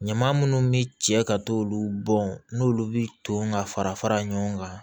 Ɲama munnu bi cɛ ka t'olu bɔn n'olu bi ton ka fara fara fara ɲɔgɔn kan